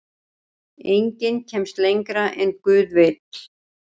Enginn kemst lengra en guð vill.